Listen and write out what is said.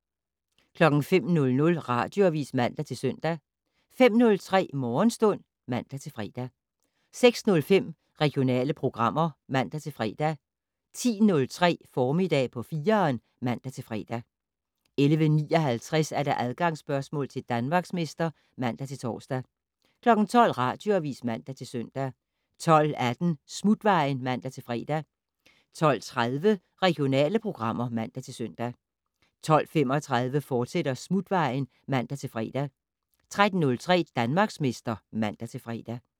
05:00: Radioavis (man-søn) 05:03: Morgenstund (man-fre) 06:05: Regionale programmer (man-fre) 10:03: Formiddag på 4'eren (man-fre) 11:59: Adgangsspørgsmål til Danmarksmester (man-tor) 12:00: Radioavis (man-søn) 12:18: Smutvejen (man-fre) 12:30: Regionale programmer (man-søn) 12:35: Smutvejen, fortsat (man-fre) 13:03: Danmarksmester (man-fre)